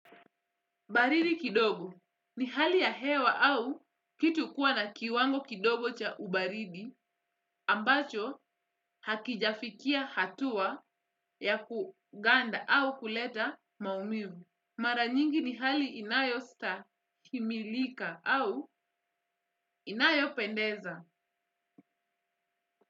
Baridi kidogo ni hali ya hewa au kitu kuwa na kiwango kidogo cha ubaridi ambacho hakijafikia hatua ya kuganda au kuleta maumivu. Mara nyingi ni hali inayo stahiimilika au inayo pendeza.